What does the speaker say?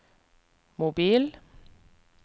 mobil